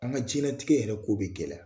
An ga jɛnlatigɛ yɛrɛ k'o be gɛlɛya.